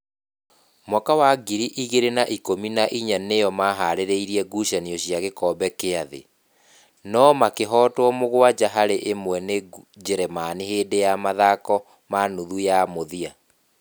mwaka wa ngiri igĩrĩ na ikũmi na inya nĩo maharĩire gucanio cia gĩkombe kĩa thĩ, no makĩhootwo mũgwanja harĩ ĩmwe nĩ Njĩrĩmani hĩndĩ ya mathako ma nuthu ya mũthia.